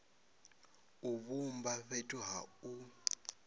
u vhumba fhethu ha u